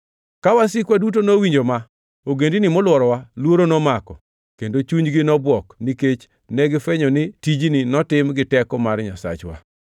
Ka wasikwa duto nowinjo ma, ogendini molworowa luoro nomako kendo chunygi nobwok, nikech negifwenyo ni tijni notim gi teko mar Nyasachwa.